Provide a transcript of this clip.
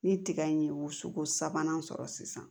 Ni tiga in ye woso sabanan sɔrɔ sisan